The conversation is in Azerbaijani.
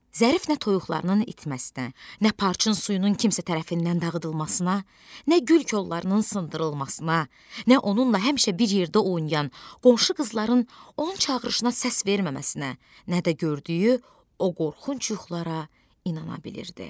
Zərif nə toyuqlarının itməsinə, nə parayın suyunun kimsə tərəfindən dağıdılmasına, nə gül kollarının sındırılmasına, nə onunla həmişə bir yerdə oynayan qonşu qızların onun çağırışına səs verməməsinə, nə də gördüyü o qorxunc yuxulara inana bilirdi.